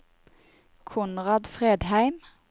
Konrad Fredheim